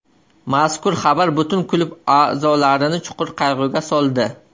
Mazkur xabar butun klub a’zolarini chuqur qayg‘uga soldi.